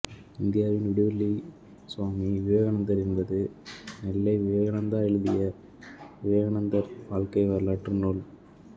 இந்தியாவின் விடிவெள்ளி சுவாமி விவேகானந்தர் என்பது நெல்லை விவேகநந்தா எழுதிய விவேகானந்தர் வாழ்க்கை வரலாற்று நூல்